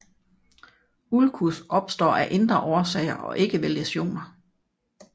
Ulcus opstår af indre årsager og ikke ved læsioner